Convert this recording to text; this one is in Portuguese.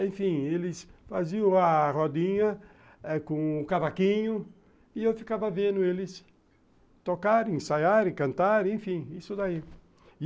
Enfim, eles faziam a rodinha com o cavaquinho e eu ficava vendo eles tocarem, ensaiarem, cantarem, enfim, isso daí.